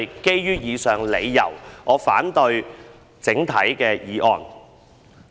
基於以上理由，我整體反對《條例草案》。